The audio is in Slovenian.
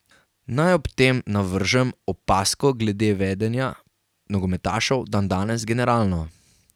Naj ob tem navržem opazko glede vedenja nogometašev dandanes generalno.